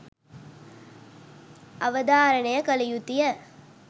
අවධාරණය කළ යුතුය.